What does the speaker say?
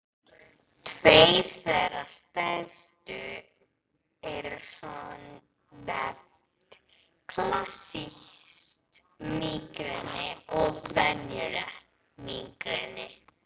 Tveir þeirra stærstu eru svonefnt klassískt mígreni og venjulegt mígreni.